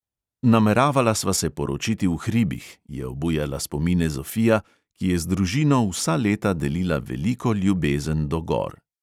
"Nameravala sva se poročiti v hribih," je obujala spomine zofija, ki je z družino vsa leta delila veliko ljubezen do gor.